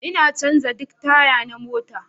Ina canza duk taya na mota